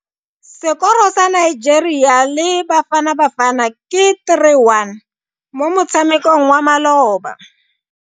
Sekoro sa Nigeria le Bafanabafana ke 3-1 mo motshamekong wa maloba.